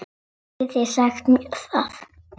Getið þið sagt mér það?